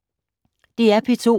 DR P2